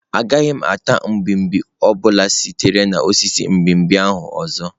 Agaghị m ata mgbimgbi ọ bụla sitere na osisi mgbimgbi ahụ ọzọ.